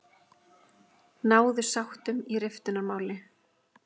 Náðu sáttum í riftunarmáli